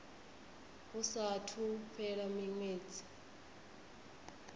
hu saathu u fhela miṅwedzi